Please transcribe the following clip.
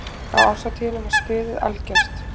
Á árshátíðinni var stuðið algjört.